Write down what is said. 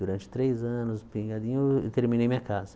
Durante três anos, pingadinho, eu terminei minha casa.